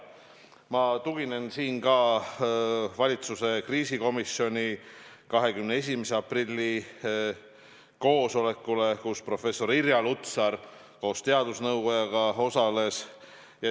Ma tuginen siin ka valitsuse kriisikomisjoni 21. aprilli koosolekule, kus professor Irja Lutsar koos teadusnõukojaga osales.